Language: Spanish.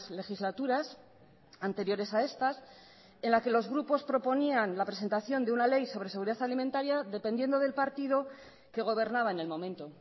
legislaturas anteriores a estas en las que los grupos proponían la presentación de una ley sobre seguridad alimentaria dependiendo del partido que gobernaba en el momento